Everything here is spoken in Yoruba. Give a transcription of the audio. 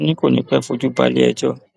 wọn ní kò ní í pẹ fojú balẹẹjọ